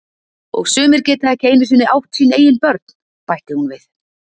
Og sumir geta ekki einu sinni átt sín eigin börn, bætti hún við.